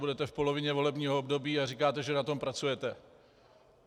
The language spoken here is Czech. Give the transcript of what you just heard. Budete v polovině volebního období a říkáte, že na tom pracujete.